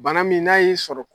Bana min n'a y'i sɔrɔ